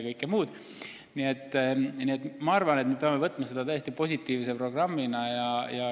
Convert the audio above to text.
Nii et minu arvates me peame võtma seda täiesti positiivse programmina.